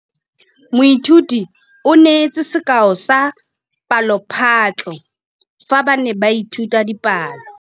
Moithuti o neetse sekaô sa palophatlo fa ba ne ba ithuta dipalo.